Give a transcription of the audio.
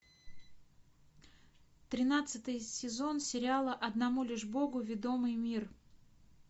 тринадцатый сезон сериала одному лишь богу ведомый мир